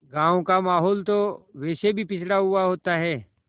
गाँव का माहौल तो वैसे भी पिछड़ा हुआ होता है